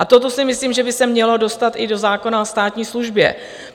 A toto si myslím, že by se mělo dostat i do zákona o státní službě.